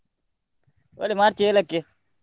Holi March ಏಳಕ್ಕೆ.